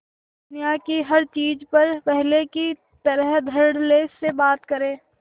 दुनिया की हर चीज पर पहले की तरह धडल्ले से बात करे